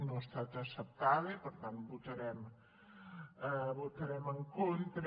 no ha estat acceptada i per tant hi votarem en contra